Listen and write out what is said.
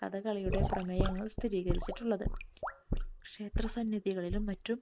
കഥകളിയുടെ പ്രമേയങ്ങൾ സ്ഥിരീകരിച്ചിട്ടുള്ളത്. ക്ഷേത്ര സന്നിധികളിലും മറ്റും